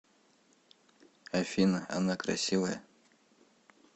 афина она красивая